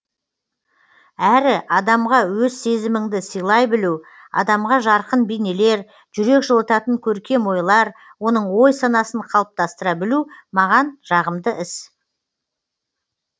әрі адамға өз сезіміңді сыйлай білу адамға жарқын бейнелер жүрек жылытатын көркем ойлар оның ой санасын қалыптастыра білу маған жағымды іс